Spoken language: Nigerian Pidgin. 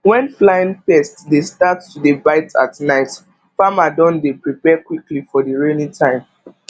when flying pest dey start to dey bite at night farmer don dey prepare quickly for the rainy time